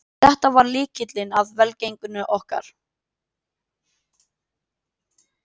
Þetta var lykillinn að velgengninni okkar